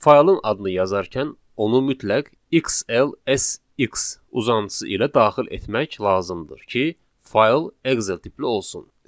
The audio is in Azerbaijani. Faylın adını yazarkən onu mütləq XLSX uzantısı ilə daxil etmək lazımdır ki, fayl Excel tipli olsun.